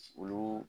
Olu